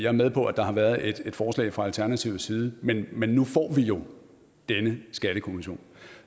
er med på at der har været et forslag fra alternativets side men men nu får vi jo denne skattekommission